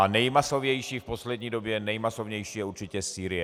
A nejmasovější v poslední době, nejmasovější je určitě Sýrie.